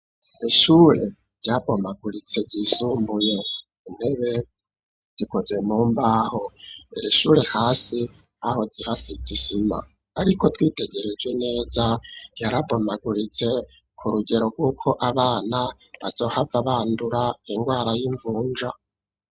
Ishure ryabomaguritse ry'isumbuye, intebe zikoze mumbaho ir'ishure hasi aho hasize isima ariko twitegerejwe neza yarabomaguritse ku rugero rw'uko abana bazohava bandura indwara y'imvunja.